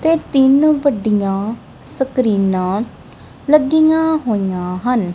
ਤੇ ਤਿੰਨ ਵੱਡੀਆਂ ਸਕਰੀਨਾਂ ਲੱਗੀਆਂ ਹੋਈਆਂ ਹਨ।